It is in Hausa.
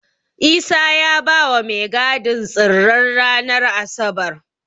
Isa ya bawa mai gadin tsirren ranar Asabar.